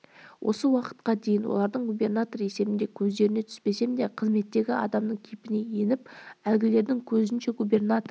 осы уақытқа дейін олардың губернатор есебінде көздеріне түспесем де қызметтегі адамның кейпіне еніп әлгілердің көзінше губернатор